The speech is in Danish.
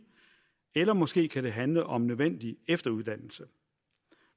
eller måske kan det handle om nødvendig efteruddannelse